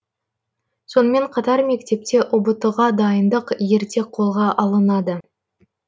сонымен қатар мектепте ұбт ға дайындық ерте қолға алынады